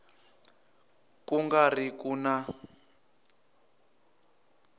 ku nga ri ku na